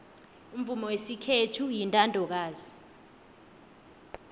umvumo wesikhethu uyintandokazi